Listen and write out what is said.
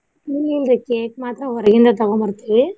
ಇಲ್ಲ ಇಲ್ರಿ cake ಮಾತ್ರಾ ಹೊರಗಿಂದ ತಗೊಂದ ಬರ್ತೀವಿ.